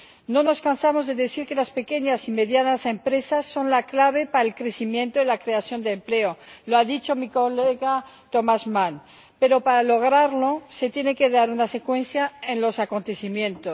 No nos cansamos de repetir que las pequeñas y medianas empresas son la clave para el crecimiento y la creación de empleo ―lo ha dicho mi colega Thomas Mann―, pero, para lograrlo, se tiene que dar una secuencia en los acontecimientos.